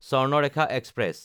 Swarnarekha express